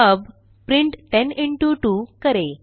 अब print 10 into 2 करें